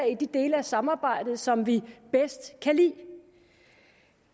i de dele af samarbejdet som vi bedst kan lide